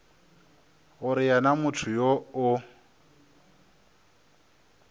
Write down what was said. gore yena motho yoo o